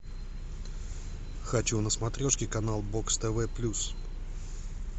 хочу на смотрешке канал бокс тв плюс